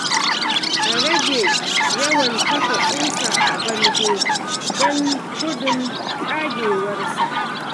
A rage yawan kafa ƙusa a bango don gudun tsagewarsa.